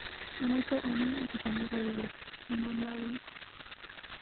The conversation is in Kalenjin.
Amache anai agoba logoywek chemaloen